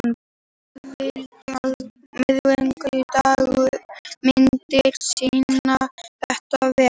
Meðfylgjandi myndir sýna þetta vel.